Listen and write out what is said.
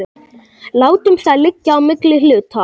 Látum það liggja á milli hluta.